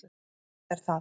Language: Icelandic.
Þetta er það.